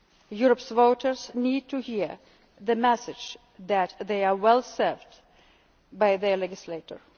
to their task. Europe's voters need to hear the message that they are well served by